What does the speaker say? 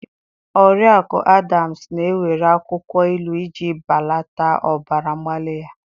Oriakụ Adams na-ewere akwụkwọ ilu iji belata ọbara mgbali ya.